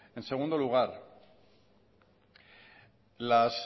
en segundo lugar las